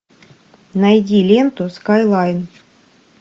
найди ленту скайлайн